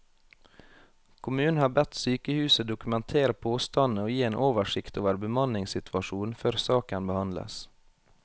Kommunen har bedt sykehuset dokumentere påstandene og gi en oversikt over bemanningssituasjonen før saken behandles.